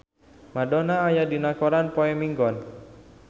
Madonna aya dina koran poe Minggon